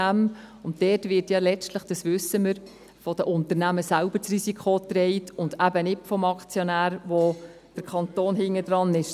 Dort wird ja letztlich – dies wissen wir – das Risiko von den Unternehmern selbst getragen und eben nicht vom Aktionär, bei dem der Kanton dahinter ist.